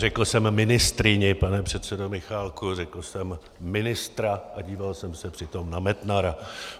Neřekl jsem ministryni, pane předsedo Michálku, řekl jsem ministra a díval jsem se přitom na Metnara.